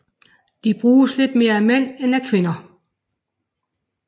De bruges lidt mere af mænd end af kvinder